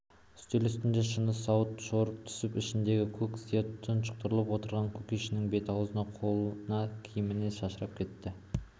үстел үстіндегі шыны сауыт шоршып түсіп ішіндегі көк сия тұқшиыңқырап отырған кушекиннің бет-аузына қолына киіміне шашырап кетті